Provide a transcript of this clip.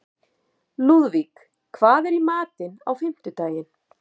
Lúðvíg, hvað er í matinn á fimmtudaginn?